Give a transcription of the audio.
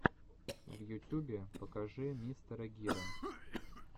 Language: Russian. в ютюбе покажи мистера гира